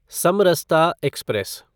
Samarsata express